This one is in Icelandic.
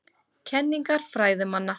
Kenningar fræðimanna.